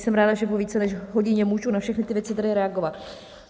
Jsem ráda, že po více než hodině můžu na všechny ty věci tady reagovat.